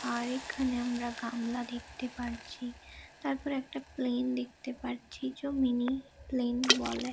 আর এখানে আমরা গামলা দেখতে পারছি তারপর একটা প্লেন দেখতে পারছি যে মিনি--প্লেন বলে।